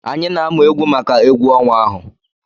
Anyị na-amụ egwu maka egwu ọnwa ahụ.